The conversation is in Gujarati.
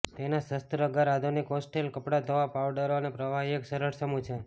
તેના શસ્ત્રાગાર આધુનિક હોસ્ટેલ કપડાં ધોવા પાઉડરો અને પ્રવાહી એક સરળ સમૂહ છે